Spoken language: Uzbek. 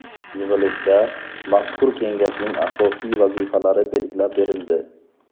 Yig‘ilishda mazkur kengashning asosiy vazifalari belgilab berildi.